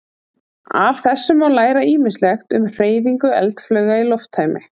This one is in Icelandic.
Af þessu má læra ýmislegt um hreyfingu eldflauga í lofttæmi.